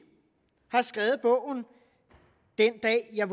har skrevet bogen den dag jeg